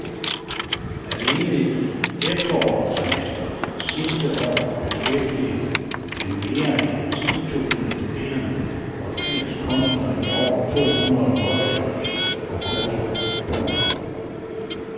Alene i efterårssemestret sidste år beskæftigede det mere end ti tusinde studerende og firs kunstnere i over to hundrede workshops og kurser. punktum